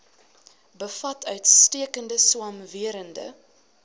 bevat uitstekende swamwerende